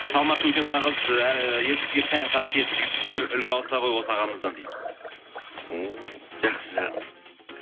салмақты өте нағыз ыыы ер кісіге тән қасиет жігіттер үлгі алса ғой осы ағамыздан дейі ммм жақсы жағын